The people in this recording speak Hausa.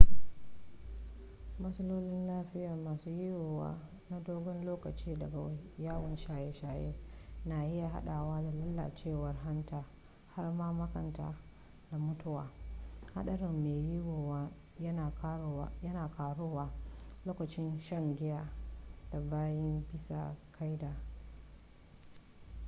matsaloli lafiya masu yiwuwa na dogon lokaci daga yawan shaye-shaye na iya haɗawa da lalacewar hanta har ma makanta da mutuwa haɗarin mai yiwuwa yana ƙaruwa lokacin shan giyan da baya bisa ƙa'ida